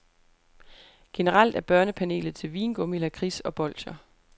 Generelt er børnepanelet til vingummi, lakrids og bolscher.